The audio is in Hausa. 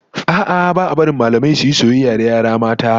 A'a, ba a barin mallamai su yi soyayya da yara mata